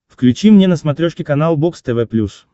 включи мне на смотрешке канал бокс тв плюс